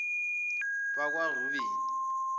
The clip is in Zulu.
bakwarubeni